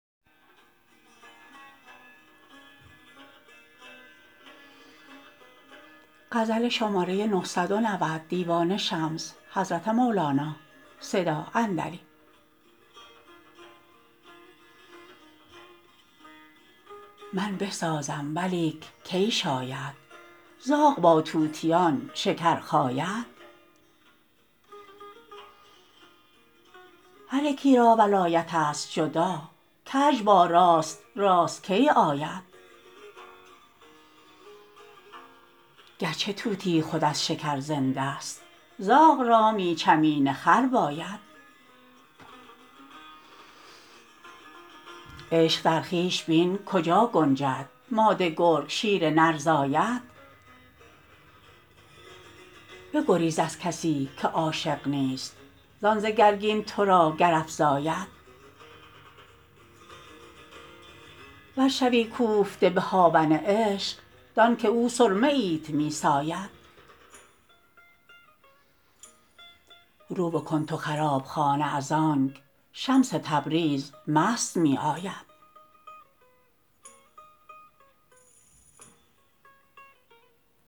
من بسازم ولیک کی شاید زاغ با طوطیان شکر خاید هر یکی را ولایتست جدا کژ با راست راست کی آید گرچه طوطی خود از شکر زندست زاغ را می چمین خر باید عشق در خویش بین کجا گنجد ماده گرگ شیر نر زاید بگریز از کسی که عاشق نیست زان ز گرگین تو را گر افزاید ور شوی کوفته به هاون عشق دانک او سرمه ایت می ساید رو بکن تو خراب خانه از آنک شمس تبریز مست می آید